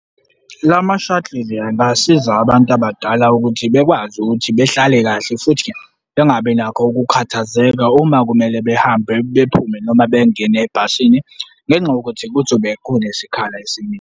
La ma-shuttle angasiza abantu abadala ukuthi bekwazi ukuthi behlale kahle futhi bengabi nakho ukukhathazeka uma kumele behambe bephume noma bengene ebhasini ngenxa yokuthi kuzobe kunesikhala esiningi.